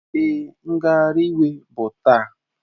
Èé, ngagharị iwe bụ taa.